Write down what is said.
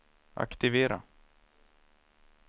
aktivera